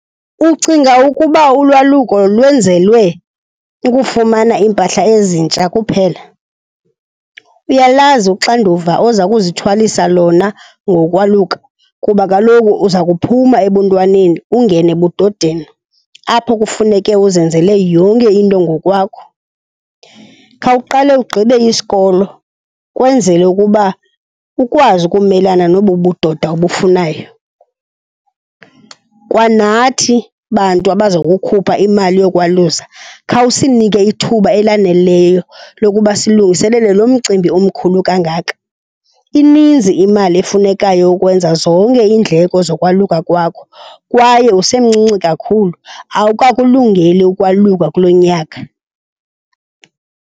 Ucinga ukuba ulwaluko lwenzelwe ukufumana iimpahla ezintsha kuphela? Uyalazi uxanduva oza kuzithwalisa lona ngokwaluka kuba kaloku uza kuphuma ebuntwaneni ungene ebudodeni, apho kufuneke uzenzele yonke into ngokwakho? Khawuqale ugqibe isikolo kwenzele ukuba ukwazi ukumelana nobu budoda obufunayo. Kwanathi bantu abaza kukhupha imali yokwalusa, khawusinike ithuba elaneleyo lokuba silungiselele lo mcimbi omkhulu kangaka. Ininzi imali efunekayo yokwenza zonke iindleko zokwaluka kwakho kwaye usemncinci kakhulu, awukakulungeli ukwaluka kulo nyaka.